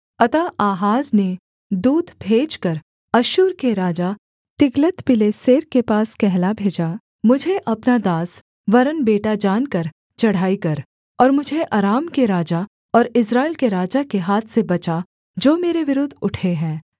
अतः आहाज ने दूत भेजकर अश्शूर के राजा तिग्लत्पिलेसेर के पास कहला भेजा मुझे अपना दास वरन् बेटा जानकर चढ़ाई कर और मुझे अराम के राजा और इस्राएल के राजा के हाथ से बचा जो मेरे विरुद्ध उठे हैं